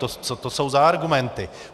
Co to jsou za argumenty?